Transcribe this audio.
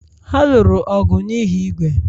Ha lụrụ ọgụ n'ihi ígwè